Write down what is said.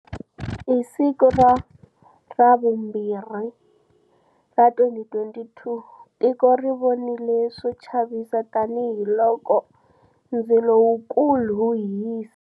Hi siku ra vumbirhi ra 2022, tiko ri vonile swo chavisa tanihiloko ndzilo wukulu wu hisa